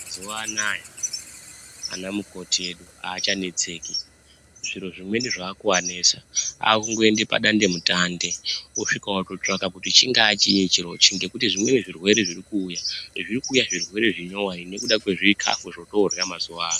Mazuwa anaya vanamukoti edu havachanetseki, zviro zvimweni zvakuanetsa vakungoenda padandemutande vosvika votsvanga kuti chingaa chii chirochi ngekuti zvimweni zvirwere, zvineizvi kwakuuya zvirwere zvinyowani ngekuda kwezvikafu zvataakurya mazuva ano.